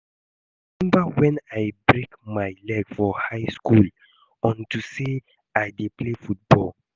I remember wen I break my leg for high school unto say I dey play football